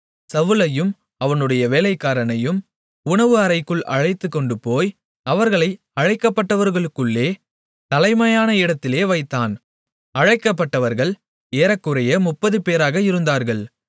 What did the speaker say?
Samuel சவுலையும் அவனுடைய வேலைக்காரனையும் உணவு அறைக்குள் அழைத்துக்கொண்டுபோய் அவர்களை அழைக்கப்பட்டவர்களுக்குள்ளே தலைமையான இடத்திலே வைத்தான் அழைக்கப்பட்டவர்கள் ஏறக்குறைய 30 பேராக இருந்தார்கள்